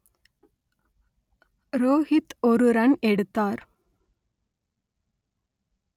ரோகித் ஒரு ரன் எடுத்தார்